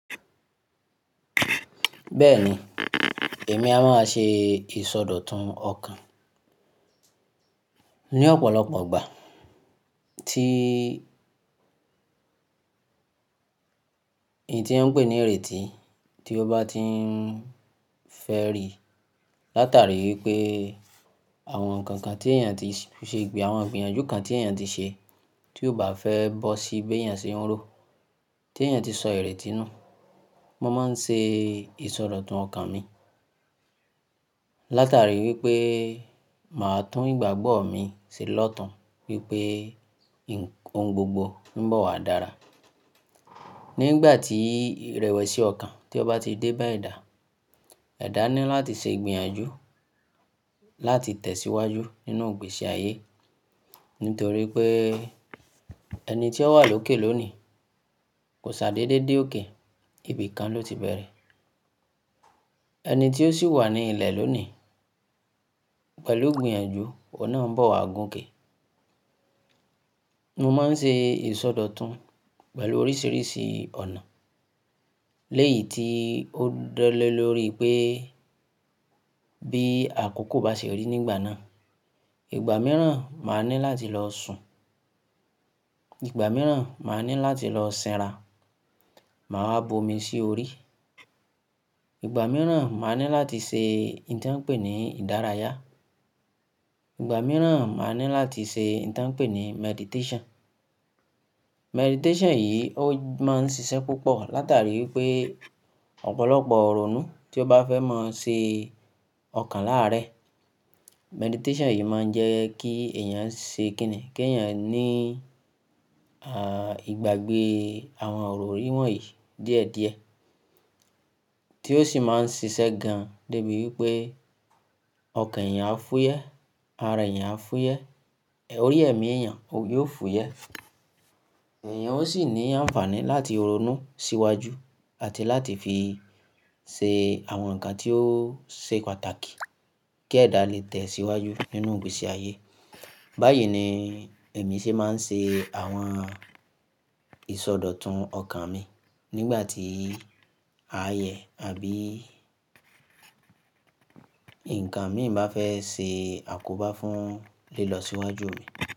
Bẹ́ẹ̀ni, èmi a máa ṣe ìsọdọ̀tun ọkàn ní ọ̀pọ̀lọpọ̀ ìgbà tí ì tí wọn ń pè ní ìrètí ti ó bá ti ń fẹ́ ri látàrí wípé àwọn ǹkan kan tí èèyàn ti ṣe gbà, àwọn ìgbìyànjú kan tí èèyàn ti ṣe tí ó bá fẹ́ bọ́ sí bí èèyàn ṣe ń rò, tí èèyàn ti sọ ìrètí nù, mo máa ń ṣe ìsọdọ̀tun ọkàn mi látàrí wípé màá tún ìgbàgbọ́ mi ṣe lọ́tàn wípé ohun gbogbo ń bọ̀ wá dára. Nígbà tí ìrẹ̀wẹ̀sì ọkàn tí ó bá ti dé bá edà, edà ni láti ṣe ìgbìyànjú láti tẹ̀síwájú nínú ìgbésí ayé nítorí pé ẹni tí ó wà lókè lónìí kò ṣàdédé dé òkè, ibìkan ló ti bẹ̀rẹ̀. Ẹni tí ó sì wà ní ilẹ̀ lónìí pẹ̀lú ìgbìyànjú, ọ̀un nà ń bọ̀ wá gùn ìkẹ. Mo máa ń ṣe ìsọdọ̀tun pẹ̀lú oríṣìíríṣìí ọ̀nà lẹ́yì tí ó dọ́lẹ̀ lórí pé bí àkókò bá ṣe rí nígbà náà. Ìgbà mìíràn, màá ní láti lọ sùn, ìgbà mìíràn, màá ní láti lọ sẹ́ra, màá wá bomi sí orí, ìgbà mìíràn, màá ní láti ṣe nǹ tí wọ́n ń pè ní ìdárayá, ìgbà mìíràn, màá ní láti ṣe nǹ tí wọ́n ń pè ní meditation. Meditation yìí ó máa ń ṣiṣẹ́ púpọ̀ látàrí wípé ọ̀pọ̀lọpọ̀ irònù tí ó bá fẹ́ máa ṣe ọkàn láàárẹ. Meditation yìí máa ń jẹ́ kí èèyàn ṣe kìn-ín kí èèyàn ní à ìgbàgbé àwọn ọ̀rọ̀ ìwọ̀n yìí díẹ̀díẹ̀ tí ó sì máa ń ṣiṣẹ́ gan débi wípé ọkàn èèyàn á fúyẹ́, ara èèyàn á fúyẹ́, èròyè ẹ̀mí èèyàn yóò fúyẹ́. Èèyàn ó sì ní àǹfààní láti ronú síwájú àti láti fi ṣe àwọn ǹkan tí ó ṣe pàtàkì kí ẹ̀dá lè tẹ̀síwájú nínú ìgbésí ayé. Báyìí ni èmi ṣe máa ń ṣe àwọn ìsọdọ̀tun ọkàn mi nígbà tí ayẹyẹ àbí ǹkan mìíràn bá fẹ́ ṣe àkóbá fún lílọ síwájú mi.